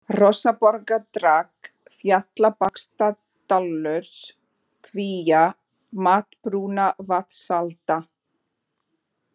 Hrossaborgardrag, Fjallabaksdalur, Kvíá, Matbrunnavatnsalda